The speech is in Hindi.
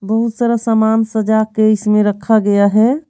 बहुत सारा सामान सजा के इसमें रखा गया है।